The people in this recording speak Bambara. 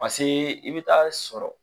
Paseke i bɛ taa sɔrɔ